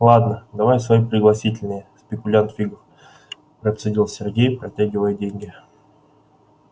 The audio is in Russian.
ладно давай свои пригласительные спекулянт фигов процедил сергей протягивая деньги